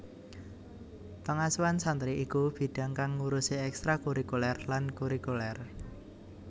Pengasuhan santri iku bidhang kang ngurusi ekstrakurikuler lan kurikuler